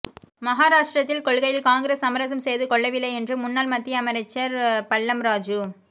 மகாராஷ்டிரத்தில் கொள்கையில் காங்கிரஸ் சமரசம் செய்துகொள்ளவில்லை என்று முன்னாள் மத்திய அமைச்சா் பல்லம்ராஜூ